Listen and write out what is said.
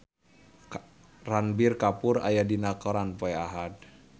Ranbir Kapoor aya dina koran poe Ahad